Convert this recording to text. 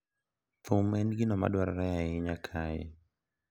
Thum en gino ma dwarore ahinya kae,